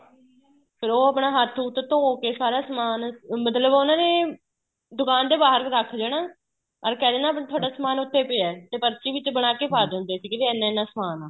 ਫ਼ੇਰ ਉਹ ਆਪਣਾ ਹੱਥ ਹੁਥ ਧੋਹ ਕੇ ਸਾਰਾ ਸਮਾਨ ਮਤਲਬ ਉਹਨਾ ਨੇ ਦੁਕਾਨ ਦੇ ਬਹਾਰ ਰੱਖ ਜਾਣਾ ਔਰ ਕੇ ਜਾਣਾ ਤੁਹਾਡਾ ਸਮਾਨ ਉਥੇ ਪਇਆ ਹੈ ਤੇ ਪਰਚੀ ਵਿੱਚ ਬਣਾਕੇ ਪਾਹ ਦਿੰਦੇ ਸੀ ਵੀ ਇੰਨਾ ਇੰਨਾ ਸਮਾਨ ਆ